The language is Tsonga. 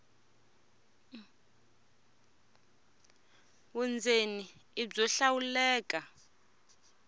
vundzeni i byo hlawuleka